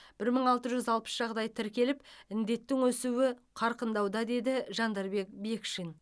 бір мың алты жүз алпыс жағдай тіркеліп індеттің өсуі қарқындауда деді жандарбек бекшин